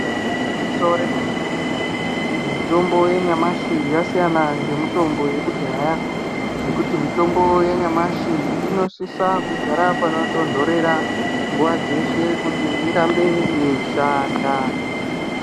Igwinyiso remene-mene mitombo yanyamashi yakasiyana ngemitombo yekudhaya ngemitombo yanyamashi inosise kugara panotonhora nguva dzeshe kuti irambe yeyi shanda.